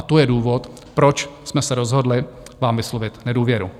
A to je důvod, proč jsme se rozhodli vám vyslovit nedůvěru.